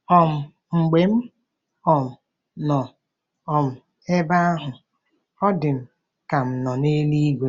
um Mgbe m um nọ um ebe ahụ, ọ dị m ka m nọ n’eluigwe. ”